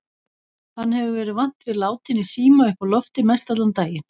Hann hefur verið vant við látinn í síma uppi á lofti mestallan daginn.